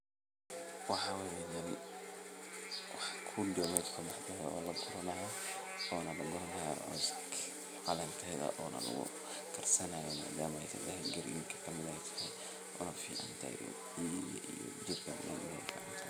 Waxaa waye badi wax kude oo kaso baxe oo lagurani hayo ona lagu karsanayo madama calen garinka kamid ee tahay oo ficantahay jirka.